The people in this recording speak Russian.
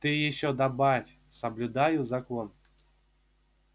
ты ещё добавь соблюдаю закон